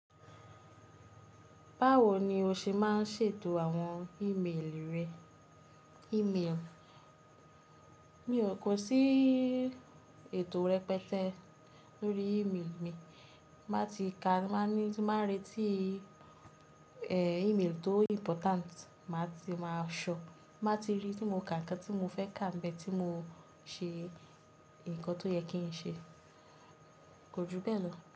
Báwo ni o ṣe má n ṣètò àwọn ímeèlì rẹ? Mi ò kó sí ètò rẹpẹtẹ lórí ímeèlì mi, màá ti ka, màá ní tí bàá n retí ímeèlì tó important màá ti má a ṣọ, màá ti rí tí mo kà nǹkan tí mo fẹ́ kà mbe tí mo ṣe nǹkan tó yẹ kí n ṣe, kò jù bẹ́ẹ̀ lọ.